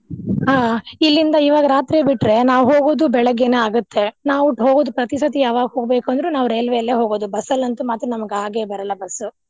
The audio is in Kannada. ಹಾ ಇಲ್ಲಿಂದ ಇವಾಗ ರಾತ್ರಿ ಬಿಟ್ರೆ ನಾವ್ ಹೋಗೋದು ಬೆಳಗ್ಗೆನೆ ಆಗತ್ತೆ. ನಾವು ಹೋಗೋದು ಪ್ರತಿ ಸತಿ ಯಾವಾಗ್ ಹೋಗ್ಬೇಕಂದ್ರು ನಾವ್ ರೇಲ್ವೆಲ್ಲೆ ಹೋಗೋದು ಬಸ್ಸಲ್ಲಿ ಅಂತು ಮಾತ್ರ ನಮ್ಗ ಆಗೆ ಬರಲ್ಲಾ ಬಸ್ಸು.